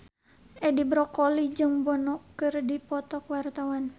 Edi Brokoli jeung Bono keur dipoto ku wartawan